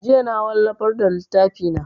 Jiya na wallafar da littafi na